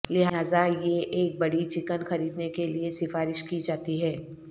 لہذا یہ ایک بڑی چکن خریدنے کے لئے سفارش کی جاتی ہے